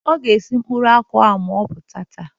Ọ ga-esi mkpụrụ akwụ ahụ ma ọ bata